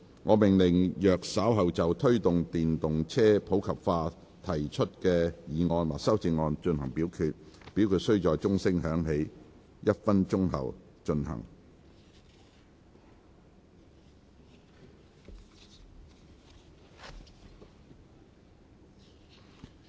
我命令若稍後就"推動電動車普及化"所提出的議案或修正案再進行點名表決，表決須在鐘聲響起1分鐘後進行。